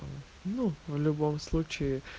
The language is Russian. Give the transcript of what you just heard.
ну в любом случае